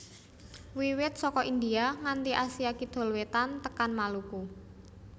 Wiwit saka India nganti Asia Kidul Wétan tekan Maluku